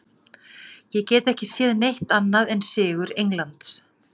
Ég get ekki séð neitt annað en sigur Englands.